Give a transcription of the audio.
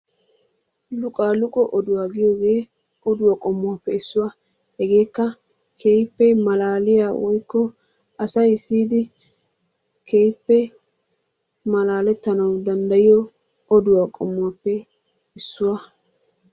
Luqaaluqqo giyoogee oduwa qommuwaappe iisuwa. Hegeekka keehippe malaaliya woykko asay siyidi keehippe malaalettanawu danddayiyo oduwa qommuwaappe issuwa.